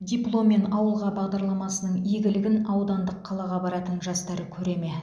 дипломмен ауылға бағдарламасының игілігін аудандық қалаға баратын жастар көре ме